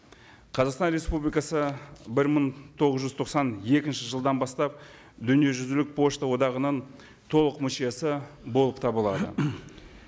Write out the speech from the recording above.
қазақстан республикасы бір мың тоғыз жүз тоқсан екінші жылдан бастап дүниежүзілік пошта одағының толық мүшесі болып табылады